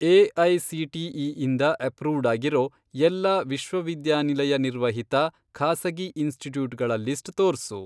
AICTE ಇಂದ approved ಆಗಿರೋ ಎಲ್ಲಾ ವಿಶ್ವವಿದ್ಯಾನಿಲಯ ನಿರ್ವಹಿತ ಖಾಸಗಿ ಇನ್ಸ್ಟಿಟ್ಯೂಟ್ಗಳ ಲಿಸ್ಟ್ ತೋರ್ಸು.